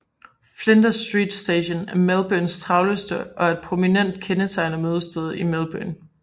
Flinders Street Station er Melbournes travleste og er et prominent kendetegn og mødested i Melbourne